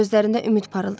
Gözlərində ümid parıldadı.